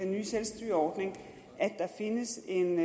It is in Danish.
nye selvstyreordning findes en ny